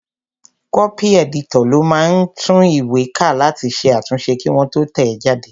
Kọ́pì ẹ̀dítọ̀ ló máa ń tún ìwé ká láti ṣe àtúnṣe kí wọ́n tó tẹ̀ ẹ́ jáde